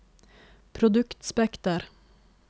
produktspekter